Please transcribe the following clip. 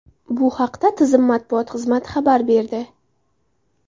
Bu haqda tizim matbuot xizmati xabar berdi.